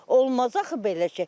Olmaz axı belə şey.